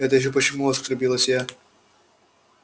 это ещё почему оскорбилась я